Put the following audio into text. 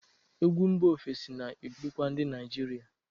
Egwu mba ofesi na-erukwa ndị Naijiria.